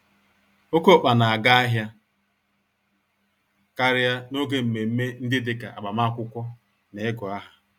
Oké ọkpa n'aga ahịa karịa n'oge mmeme ndị dịka agbamakwụkwọ, na igụ-áhà.